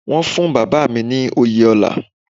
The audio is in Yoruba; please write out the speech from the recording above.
Wọ́n fún Bàbá mi ní oyè ọlá.